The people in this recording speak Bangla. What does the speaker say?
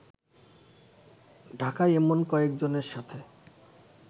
ঢাকায় এমন কয়েকজনের সাথে